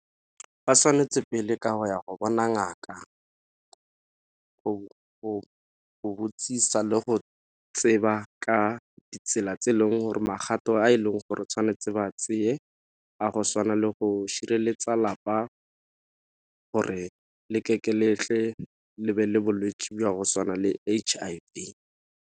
Ba tshwanetse pele ka go ya go bona ngaka, go botsisa le go tseba ka ditsela tse e leng gore magato a e leng gore tshwanetse ba tseye a go tshwana le go šireletsa lapa gore letle le be le bolwetši jwa go tshwana le H_I_V.